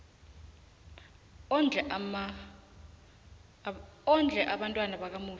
ondle abantwana bakamufi